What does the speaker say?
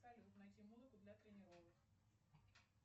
салют найти музыку для тренировок